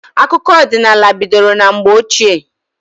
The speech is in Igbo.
Akụkọ ọdịnala bidoro na mgbe ochie.